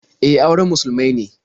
E, auren musulmai ne.